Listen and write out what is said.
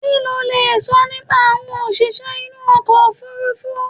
Kí lo lè sọ nípa àwọn òṣìṣẹ́ inú okọ̀ òfurufú?